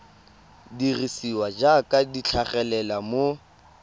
dirisiwa jaaka di tlhagelela mo